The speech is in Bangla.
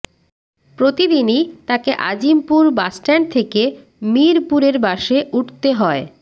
প্রতিদিনই তাকে আজিমপুর বাসস্ট্যান্ড থেকে মিরপুরের বাসে উঠতে হয়